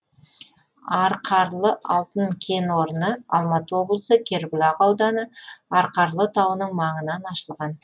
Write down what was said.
арқарлы алтын кен орны алматы облысы кербұлақ ауданы арқарлы тауының маңынан ашылған